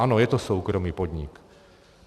Ano, je to soukromý podnik.